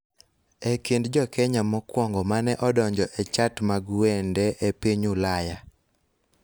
E kind jo Kenya mokwongo ma ne odonjo e chart mag wende e piny Ulaya